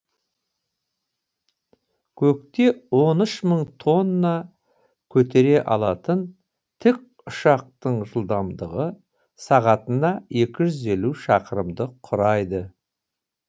көкте он үшін мың тонна көтере алатын тікұшақтың жылдамдығы сағатына екі жүз елу шақырымды құрайды